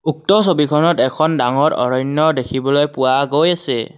উক্ত ছবিখনত এখন ডাঙৰ অৰণ্য দেখিবলৈ পোৱা গৈছে।